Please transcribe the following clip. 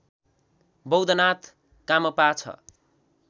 बौद्धनाथ कामपा ६